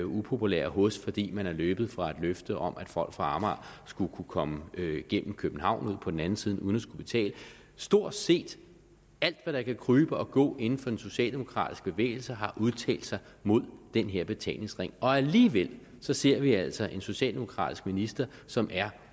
upopulære hos fordi man er løbet fra et løfte om at folk fra amager skulle kunne komme igennem københavn og ud på den anden side uden at skulle betale stort set alt hvad der kan krybe og gå inden for den socialdemokratiske bevægelse har udtalt sig imod den her betalingsring og alligevel ser vi altså en socialdemokratisk minister som er